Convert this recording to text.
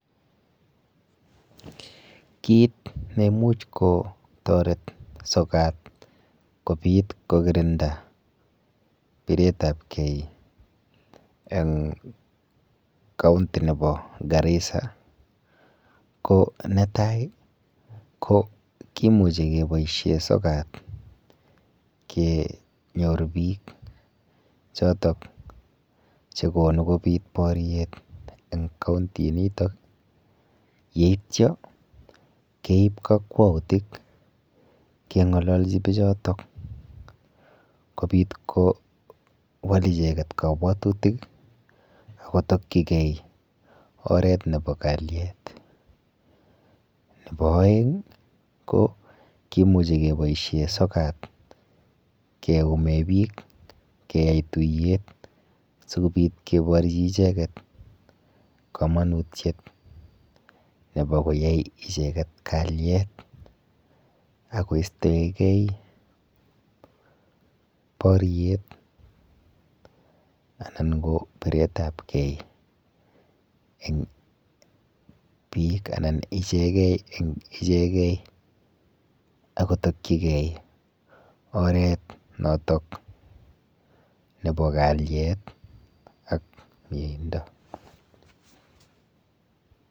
kit neumuj kotoret sokat kobit kokirinda biretab kee en county nebo Garissa ko netai kimuje keboishen sokot kenyorun bik choton chekonu kobit boryet en county niton yeityo keib kokwoutik kengololji bijoton kobit ko kowal icheket kobwotutik akotokyik oret nebo kalyet. Nebo oeng ko kimuji keboishen sokat keyumen bik keyaen tuyet sikobit koborjin icheket komonutiet nebo koyai icheket kalyet okostoen ken boryet anan ko biretab keen en bik anan icheken en icheken akotokyiken oret noton nebo kalyet ak meindo.